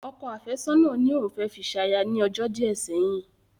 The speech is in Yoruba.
Ọkọ àfẹ́sọ̀nà ní òun fẹ́ fi ṣaya ní ọjọ́ díẹ̀ sẹ́yìn